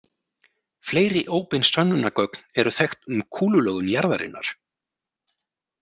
Fleiri óbein sönnunargögn eru þekkt um kúlulögun jarðarinnar.